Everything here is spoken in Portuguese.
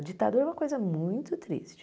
A ditadura é uma coisa muito triste.